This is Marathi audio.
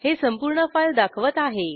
हे संपूर्ण फाईल दाखवत आहे